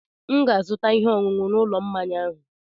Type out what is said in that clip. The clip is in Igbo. M ga-azụta ihe ọṅụṅụ n'ụlọ mmanya ahụ.